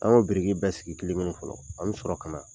An b'o biriki bɛɛ sigi kelen kelen fɔlɔ an bɛ sɔrɔ ka na.